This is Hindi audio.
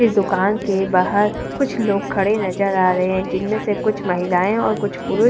इस दुकान के बाहर कुछ लोग खड़े नजर आ रहे हैं जिनमें से कुछ महिलाएं और कुछ पुरुष --